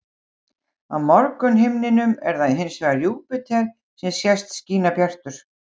Á morgunhimninum er það hins vegar Júpíter sem sést skína bjartur.